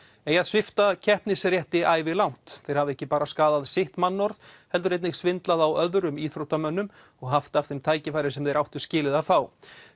eigi að svipta ævilangt þeir hafi ekki bara skaðað sitt mannorð heldur einnig svindlað á öðrum íþróttamönnum og haft af þeim tækifæri sem þeir áttu skilið að fá